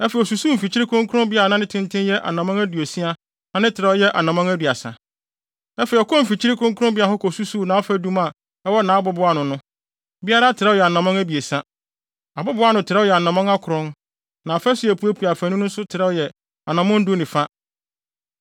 Afei ɔkɔɔ mfimfini kronkronbea hɔ kosusuw nʼafadum a ɛwɔ nʼabobow ano no; biara trɛw yɛ anammɔn abiɛsa. Abobow ano no trɛw yɛ anammɔn akron, na afasu a epuepue afaanu no nso trɛw yɛ anammɔn du ne fa.